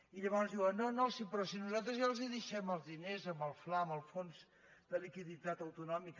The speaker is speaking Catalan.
i llavors diuen no no però si nosaltres ja els deixem els dines amb el fla amb el fons de liquiditat autonòmica